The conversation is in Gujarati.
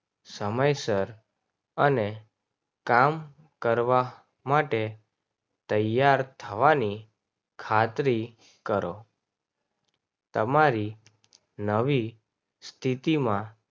સમયસર અને કામ કરવા માટે તૈયાર થવાની ખાતરી કરો. તમારી નવી સ્થિતિમાં